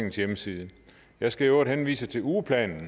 hjemmeside jeg skal øvrigt henvise til ugeplanen